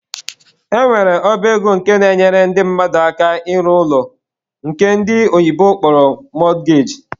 E nwere ọba ego nke na-enyere ndị mmadụ aka ịrụ ụlọ nke ndi oyibo kpọrọ mortgage.